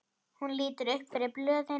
Hún lítur upp fyrir blöðin.